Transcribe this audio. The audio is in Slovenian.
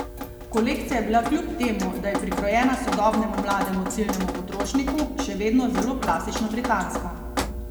Kolekcija je bila kljub temu, da je prikrojena sodobnemu mlademu ciljnemu potrošniku, še vedno zelo klasično britanska.